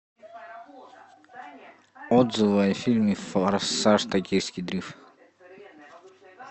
отзывы о фильме форсаж токийский дрифт